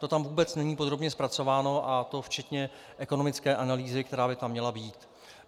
To tam vůbec není podrobně zpracováno, a to včetně ekonomické analýzy, která by tam měla být.